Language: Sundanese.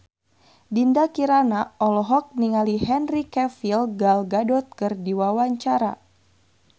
Dinda Kirana olohok ningali Henry Cavill Gal Gadot keur diwawancara